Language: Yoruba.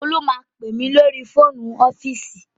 Olú máa pè mí lórí fóònù ọ́fíìsì